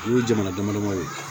O ye jamana damadamaw ye